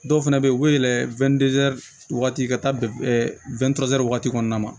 Dɔw fana bɛ yen u bɛ yɛlɛ wagati ka taa waati kɔnɔna na